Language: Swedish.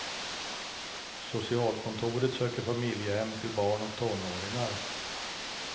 Socialkontoret söker familjehem till barn och tonåringar.